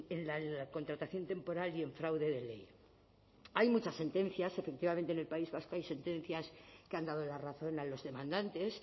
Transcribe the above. en la contratación temporal y en fraude de ley hay muchas sentencias efectivamente en el país vasco hay sentencias que han dado la razón a los demandantes